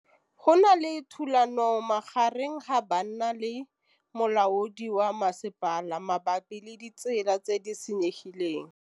Go na le thulanô magareng ga banna le molaodi wa masepala mabapi le ditsela tse di senyegileng.